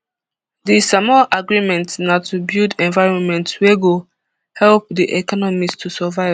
di samoa agreement na to build environment wey go help di economies to survive